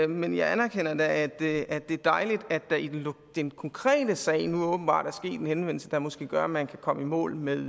men jeg anerkender da at det er dejligt at der i den konkrete sag nu åbenbart er en henvendelse der måske gør at man kan komme i mål med